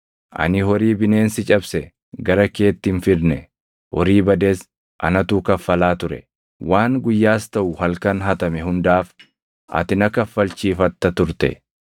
Ani horii bineensi cabse gara keetti hin fidne; horii bades anatu kaffalaa ture. Waan guyyaas taʼu halkan hatame hundaaf ati na kaffalchiifatta turte.